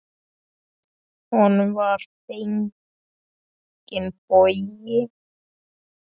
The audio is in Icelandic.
Honum var fenginn bogi.